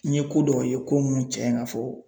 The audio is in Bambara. N ye ko dɔw ye ko minnu cɛn ka fɔ.